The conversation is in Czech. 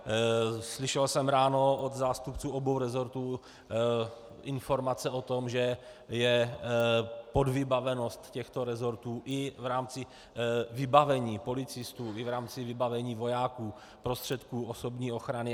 Slyšel jsem ráno od zástupců obou resortů informace o tom, že je podvybavenost těchto resortů i v rámci vybavení policistů i v rámci vybavení vojáků prostředky osobní ochrany.